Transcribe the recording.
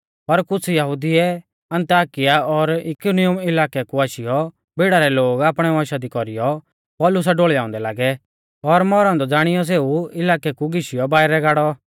पर कुछ़ यहुदिउऐ अन्ताकिया और इकुनियुम इलाकै कु आशीयौ भीड़ा रै लोग आपणै वंशा दी कौरीयौ पौलुसा ढोल़ियाउंदै लागै और मौरौ औन्दौ ज़ाणीयौ सेऊ इलाकै कु घीशियौ बाइरै गाड़ौ